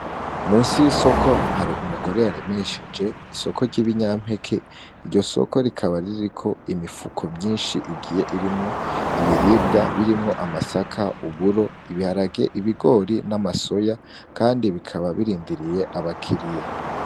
Munsi yisoko hari umugore yaremesheje isoko ryibinyampeke ro soko rikaba ririko imifuko myinshi igiye irimwo ibiribwa birimwo amasaka, uburo. ibiharage, ibigori hamwe namasoya kandi bikaba birindiriye abakiriya.